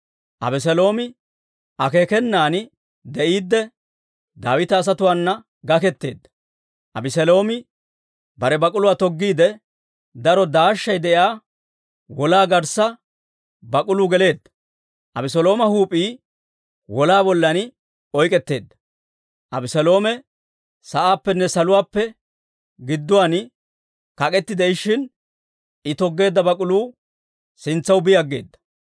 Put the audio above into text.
Abeseeloomi akeekenan de'iidde Daawita asatuwaana gaketeedda; Abeseeloomi bare bak'uluwaa toggiide, daro daashshay de'iyaa wolaa garssa bak'uluu geleedda; Abeselooma huup'ii wolaa ballan oyk'k'etteedda. Abeseeloomi sa'aappenne saluwaappe gidduwaan kak'k'eti de'ishshin, I toggeedda bak'uluu sintsaw bi aggeeda.